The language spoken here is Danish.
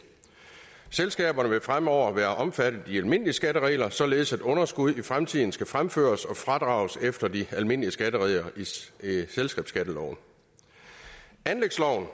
selskaberne vil fremover være omfattet af de almindelige skatteregler således at underskud i fremtiden skal fremføres og fradrages efter de almindelige skatteregler i selskabsskatteloven anlægsloven